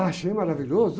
Achei maravilhoso.